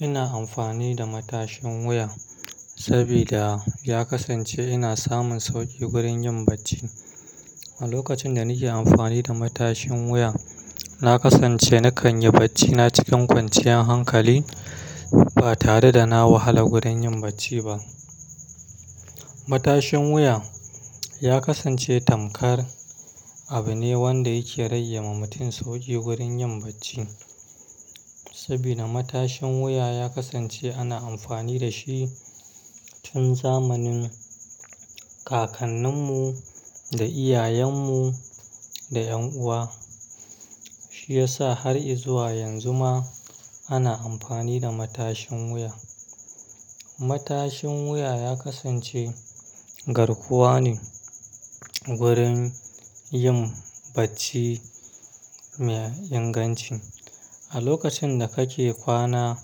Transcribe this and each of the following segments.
Ina amfani da matashin wuya saboda ya kasance ina samun sauƙi wurin yin bacci. A lokacin da nake amfani da matashin wuya, na kasance na kan yi bacci na cikin kwanciyar hankali ba tare da na wahala wurin yin bacci ba. Matashin wuya ya kasance tamkar abu ne wadda yake ragewa mutum sauƙi wurin yin bacci. Saboda matashin wuya ya kasance ana amfani da shi tun zamanin kakanninmu da iyayenmu da 'yan uwa. Shi ya sa har izuwa yanzu ma ana amfani da matashin wuya. Matashin wuya ya kasance garkuwa ne wurin yin bacci mai inganci. A lokacin da kake kwana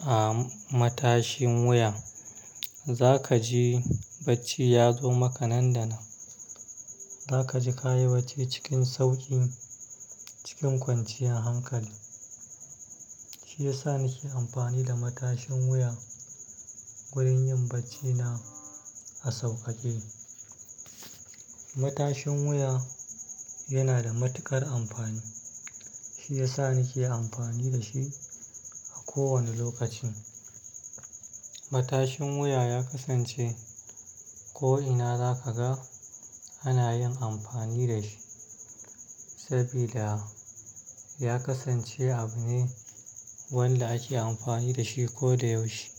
a matashin wuya, za kaji bacci ya zo maka nan da nan. Za kaji ka yi bacci cikin sauƙi cikin kwanciyar hankali. Shi ya sa nake amfani da matashin wuya wurin yin bacci na a sauƙaƙe. Matashin wuya yana da matuƙar amfani. Shi ya sa nake amfani da shi a kowane lokacin. Matashin wuya ya kasance ko ina za ka ga ana yin amfani da shi saboda ya kasance abu ne wadda ake amfani da shi ko da yaushe.